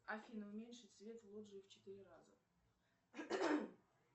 афина уменьшить свет в лоджии в четыре раза